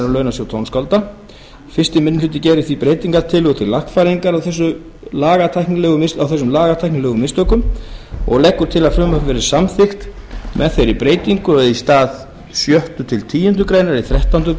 launasjóð tónskálda fyrsti minni hluti gerir því breytingartillögu til lagfæringar á þessum lagatæknilegu mistökum fyrsti minni hluti leggur til að frumvarpið verði samþykkt með þeirri breytingu að í stað sjötta til tíundu greinar í þrettándu